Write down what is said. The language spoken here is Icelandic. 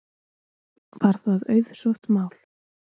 Var það auðsótt mál